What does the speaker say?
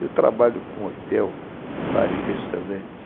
Eu trabalho com hotel, bar e restaurante.